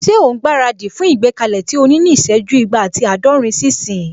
Ṣé òun gbára dì fún ìgbékalẹ̀ tí o ní ní ìsẹ́jú igba ati àádọ́rin sí ìsín?